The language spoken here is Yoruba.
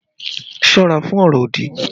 Ṣọ́ra fún ọ̀rọ̀ òdì!